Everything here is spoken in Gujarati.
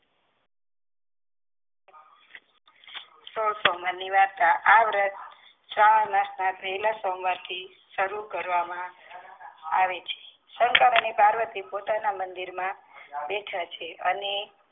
સો સોમવાર ની વાર્તા આ વ્રત શ્રવણ માસ ના પહલા સોમવાર થી સારું કરવામા આવે છે. શંકર અને પાર્વતિ પોતાના મંદિર મા બેઠા છે અને